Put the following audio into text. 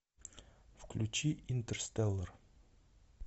включи интерстеллар